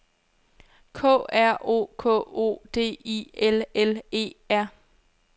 K R O K O D I L L E R